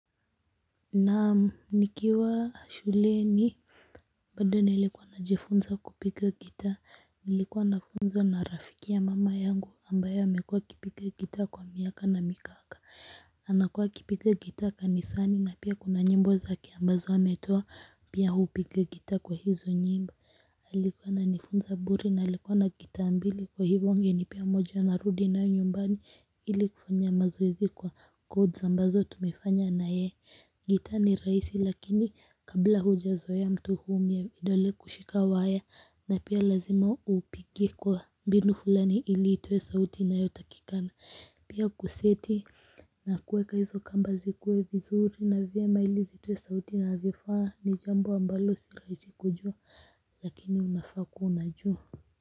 Naam nikiwa shuleni bado nilikuwa najifunza kupiga gitaa nilikuwa nafunzwa na rafiki ya mama yangu ambaye amekuwa ikipiga gitaa kwa miaka na mikaka. Anakua akipiga gitaa kanisani na pia kuna nyimbo zake ambazo ametoa pia hupiga gitaa kwa hizo nyimbo alikuwa ananifunza bure na alikuwa na gitaa mbili kwa hivyo angenipea moja narudi nayo nyumbani ili kufanya mazoezi kwa codes ambazo tumefanya nayeye gitaa ni rahisi lakini kabla huja zoea mtu huumia vidole kushika waya na pia lazima upige kwa mbinu fulani ili itoe sauti inayotakikana pia kuseti na kueka hizo kamba zikuwe vizuri na vyema ili zitoe sauti inavyofaa ni jambo ambalo si rahisi kujua lakini unafaa kuwa unajua.